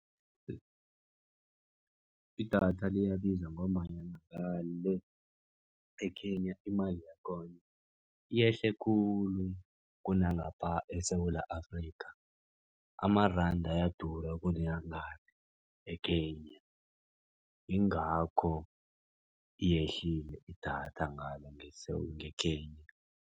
Idatha liyabiza ngombanyana ngale e-Kenya imali yakhona yehle khulu kunangapha eSewula Afrika. Amaranda ayadura kuneyangale e-Kenya. Ingakho yehlile idatha ngale nge-Kenya.